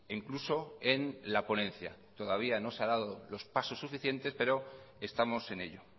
incluso en la ponencia todavía no se han dado los pasos suficientes pero estamos en ello